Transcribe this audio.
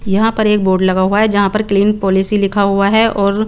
यहाँ पर एक बोर्ड लगा हुआ है जहा पर क्लीन पॉलिसी लिखा हुआ है और --